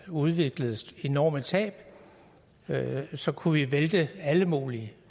udviklede enorme tab så kunne vi have væltet alle mulige